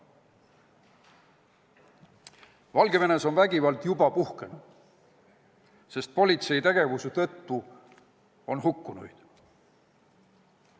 Valgevenes on vägivald juba puhkenud, sest politsei tegevuse tõttu on inimesi hukka saanud.